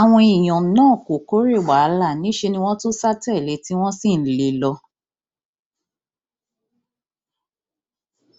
àwọn èèyàn náà kò kòòré wàhálà níṣẹ ni wọn tún sá tẹlé